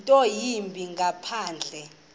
nto yimbi ngaphandle